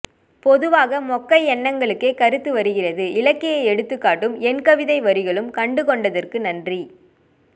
பொதுவாக மொக்கை எண்ணங்களுக்கே கருத்து வருகிறது இலக்கிய எடுத்துக் காட்டும் என் கவிதை வரிகளும் கண்டு கொண்ட தற்கு நன்றி